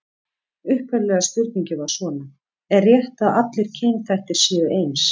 Upphaflega spurningin var svona: Er rétt að allir kynþættir séu eins?